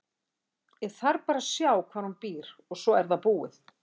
Ég þarf bara að sjá hvar hún býr og svo er það búið.